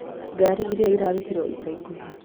ngaari ĩrĩa ĩrarutirũo ica ikuhĩ